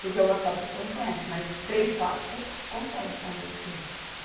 Porque uma só pessoa não conhece, mas três, quatro con, conseguem convencer.